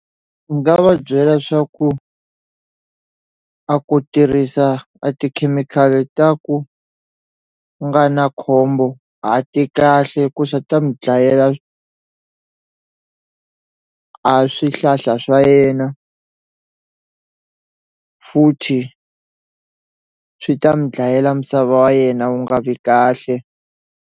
Ni nga va byela swaku a ku tirhisa a tikhemikhali ta ku nga na khombo ha ti kahle hikusa ti ta mi dlayela a swihlahla swa yena futhi swi ta mi dlayela misava wa yena wu nga vi kahle.